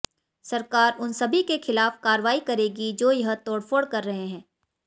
सरकार उन सभी के खिलाफ कार्रवाई करेगी जो यह तोडफोड़ कर रहे हैं